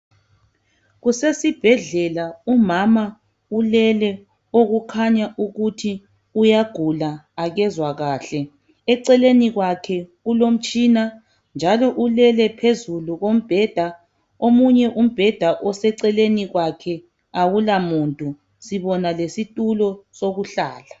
Kusesibhedlela, umama ulele okukhanya ukuthi uyagula , akezwa kahle. Eceleni kwakhe kulomtshina. Njalo ulele phezulu kombheda . Omunye umbheda oseceleni kwakhe awula muntu. Sibona lesitulo sokuhlala.